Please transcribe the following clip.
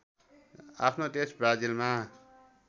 आफ्नो देश ब्राजिलमा